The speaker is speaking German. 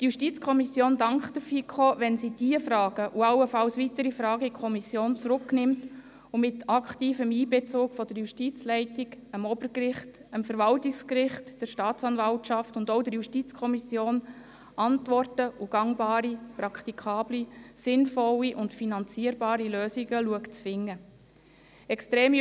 Die JuKo dankt der FiKo, wenn sie diese und allenfalls weitere Fragen in die Kommission zurücknimmt und mit aktivem Einbezug der Justizleitung, dem Obergericht, dem Verwaltungsgericht, der Staatsanwaltschaft und auch der JuKo Antworten sowie gangbare, praktikable, sinnvolle und finanzierbare Lösungen zu finden versucht.